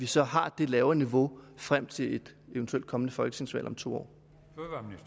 så har det lavere niveau frem til et eventuelt kommende folketingsvalg om to år